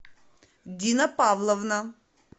дина павловна